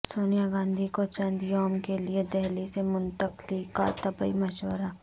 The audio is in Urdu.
سونیا گاندھی کو چند یوم کیلئے دہلی سے منتقلی کا طبی مشورہ